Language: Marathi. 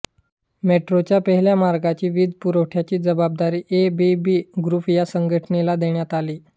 मेट्रोच्या पहिल्या मार्गाच्या वीज पुरवठ्याची जबाबदारी ए बी बी ग्रूप या संघटनेला देण्यात आली आहे